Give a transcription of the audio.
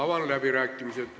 Avan läbirääkimised.